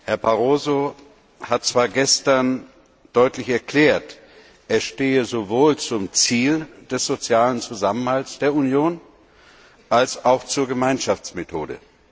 Herr Barroso hat zwar gestern deutlich erklärt, er stehe sowohl zum Ziel des sozialen Zusammenhalts der Union als auch zur Gemeinschaftsmethode.